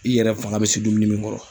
I yɛrɛ fanga bɛ se dumuni min kɔrɔ.